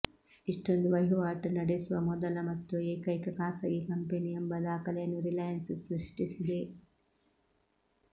ಇಷ್ಟೊಂದು ವಹಿವಾಟು ನಡೆಸುವ ಮೊದಲ ಮತ್ತು ಏಕೈಕ ಖಾಸಗಿ ಕಂಪನಿ ಎಂಬ ದಾಖಲೆಯನ್ನು ರಿಲಯನ್ಸ್ ಸೃಷ್ಟಿಸಿದೆ